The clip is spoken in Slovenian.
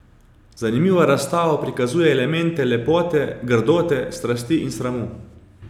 Zanimiva razstava prikazuje elemente lepote, grdote, strasti in sramu.